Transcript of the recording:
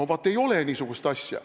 No vaat ei ole niisugust asja.